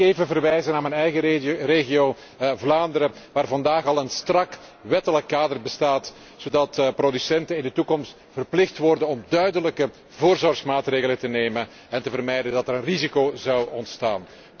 Sta mij toe te verwijzen naar mijn eigen regio, Vlaanderen, waar vandaag al een strak wettelijk kader bestaat, zodat producenten in de toekomst verplicht worden om duidelijke voorzorgsmaatregelen te nemen en te vermijden dat er een risico zou ontstaan.